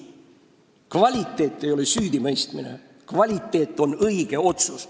Kvaliteeti ei näita süüdimõistmine, kvaliteeti näitab õige otsus.